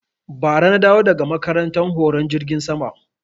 Ba ra na dawo daga makaranta horon jirgin ruwa